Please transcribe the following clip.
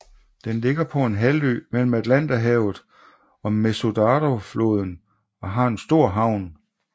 Den ligger på en halvø mellem Atlanterhavet og Mesuradofloden og har en stor havn